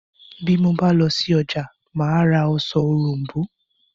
Bí mo bá lọ sí ọjà, mà á ra ọsàn òrom̀bó